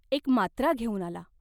एक मात्रा घेऊन आला.